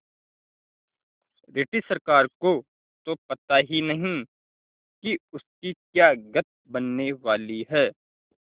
British सरकार को तो पता ही नहीं कि उसकी क्या गत बनने वाली है